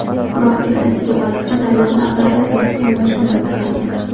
Biroq ertasiga baliqchi daryoda ag‘darilib yotgan mashinani payqagan.